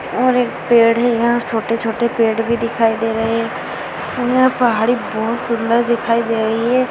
और एक पेड़ है यहाँ छोटे-छोटे पेड़ भी दिखाई दे रहे है यहाँ पहाड़ी बहुत सुन्दर दिखाई दे रही है।